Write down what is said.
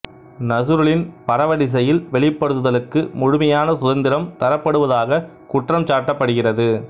நசுருலின் பரவலிசையில் வெளிப்படுத்தலுக்கு முழுமையான சுதந்திரம் தரப்படுவதாக குற்றம் சாட்டப்படுகிறது